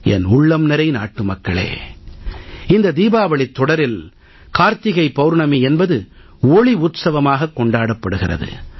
என் உள்ளம்நிறை நாட்டு மக்களே இந்த தீபாவளித் தொடரில் கார்த்திகை பவுர்ணமி என்பது ஒளி உற்சவமாகக் கொண்டாடப்படுகிறது